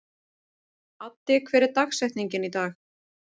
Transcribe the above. Addi, hver er dagsetningin í dag?